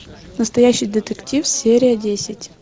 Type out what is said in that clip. настоящий детектив серия десять